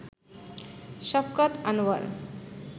Shafqat Anwar